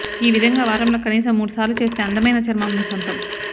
ఈ విధం గా వారం లో కనీసం మూడు సార్లు చేస్తే అందమైన చర్మం మీ సొంతం